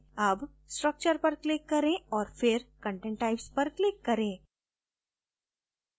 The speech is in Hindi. अब structure पर click करें और फिर content types पर click करें